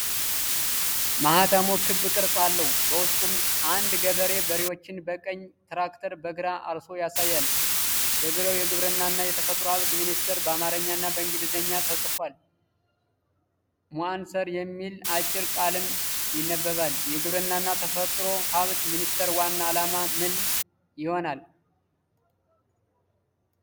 ማኅተሙ ክብ ቅርጽ አለው። በውስጡም አንድ ገበሬ በሬዎችን በቀኝ፣ ትራክተር በግራ አርሶ ያሳያል። በዙሪያው 'የግብርናና የተፈጥሮ ሀብት ሚኒስቴር' በአማርኛና በ'ኢንግሊዝኛ' ተጽፏል። 'ሞአንአር' የሚል አጭር ቃልም ይነበባል። የግብርናና ተፈጥሮ ሀብት ሚኒስቴር ዋና ዓላማ ምን ይሆናል?